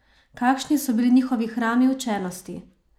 Kakšni so bili njihovi hrami učenosti?